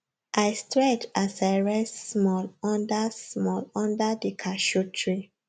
i stretch as i rest small under small under the cashew tree